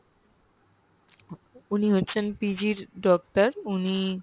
উনি হচ্ছেন PG doctor উনি